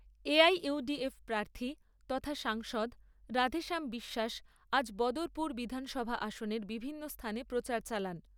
A I U D F প্রার্থী তথা সাংসদ রাধেশ্যাম বিশ্বাস আজ বদরপুর বিধানসভা আসনের বিভিন্ন স্থানে প্রচার চালান।